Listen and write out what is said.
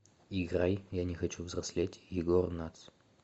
играй я не хочу взрослеть егор натс